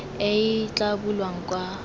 e e tla bulwang kwa